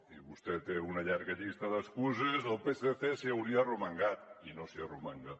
i vostè té una llarga llista d’excuses el psc s’hi hauria arromangat i no s’hi arromanga